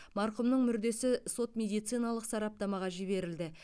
марқұмның мүрдесі сот медициналық сараптамаға жіберілді